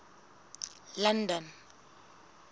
london